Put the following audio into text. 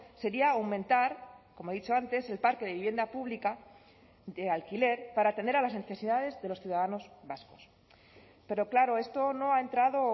sería aumentar como he dicho antes el parque de vivienda pública de alquiler para atender a las necesidades de los ciudadanos vascos pero claro esto no ha entrado